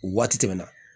Waati tɛmɛna